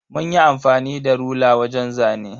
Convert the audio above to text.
Munyi amfani da rula wajen zane.